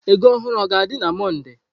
Ego ohuru o ga-adị na Mọnde?